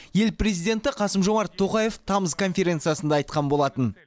ел президенті қасым жомарт тоқаев тамыз конференциясында айтқан болатын